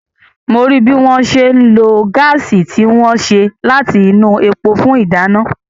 mo rí bí wọ́n ṣe ń lo gáàsì tí wọ́n ṣe láti inú epo fún ìdáná.